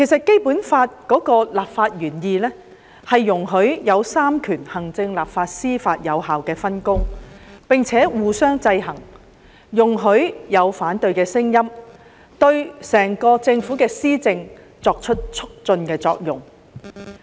《基本法》的立法原意，容許行政、立法、司法三權作有效的分工，並且互相制衡，容許有反對的聲音，對整個政府的施政產生促進的作用。